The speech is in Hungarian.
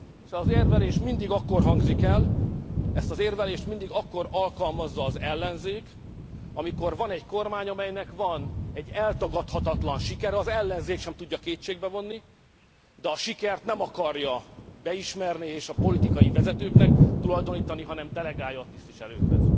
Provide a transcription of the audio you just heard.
Ez az érvelés mindig akkor hangzik el, ezt az érvelést mindig akkor alkalmazza az ellenzék, amikor van egy kormány, amelynek van egy eltagadhatatlan sikere, az ellenzék sem tudja kétségbe vonni, de a sikert nem akarja beismerni és a politikai vezetőknek tulajdonítani, hanem delegálja a tisztviselőkhöz.